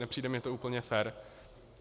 Nepřijde mi to úplně fér.